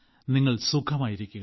നിങ്ങൾ സുഖമായിരിക്കുക